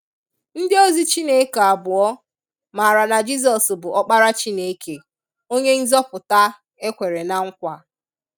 Ndi ozi Chineke abụọ maara na Jizọs bụ Ọkpara Chineke, onye Nzọpụta e kwere na nkwa.